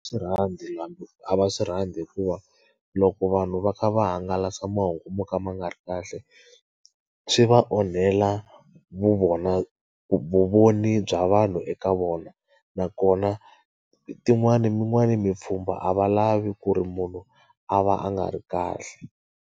Swi rhandzi a va swi rhandzi hikuva loko vanhu va kha va hangalasa mahungu mo ka ma nga ri kahle, swi va onhela vu vona vuvoni bya vanhu eka vona. Nakona tin'wani yin'wana mipfhumba a va lavi ku ri munhu a va a nga ri kahle.